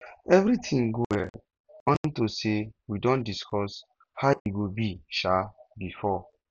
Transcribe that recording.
everything go well unto say we don discuss how e go be um before